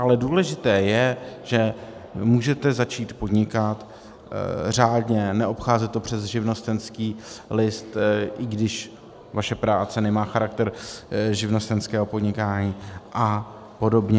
Ale důležité je, že můžete začít podnikat řádně, neobcházet to přes živnostenský list, i když vaše práce nemá charakter živnostenského podnikání, a podobně.